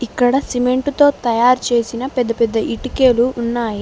ఇక్కడ సిమెంటుతో తయారు చేసిన పెద్ద పెద్ద ఇటికెలు ఉన్నాయి.